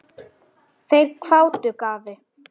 Þeir hváðu: Gati?